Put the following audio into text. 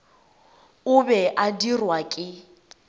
o be a dirwa ke